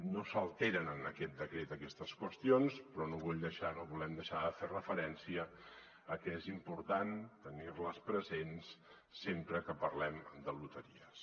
no s’alteren en aquest decret aquestes qüestions però no vull deixar no volem deixar de fer referència a que és important tenirles presents sempre que parlem de loteries